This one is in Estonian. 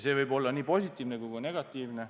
See võib olla nii positiivne kui ka negatiivne.